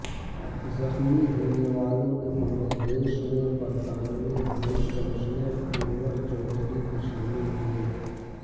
زخمی ہونے والوں میں بنگلہ دیش میں برطانوی ہائی کمشنر انور چوہدری بھی شامل ہیں